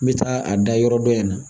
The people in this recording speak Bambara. N bɛ taa a da yɔrɔ dɔ in na